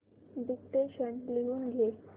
dictation लिहून घे